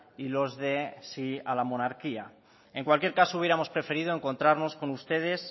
y los de sí a la monarquía en cualquier caso hubiéramos preferido encontrarnos con ustedes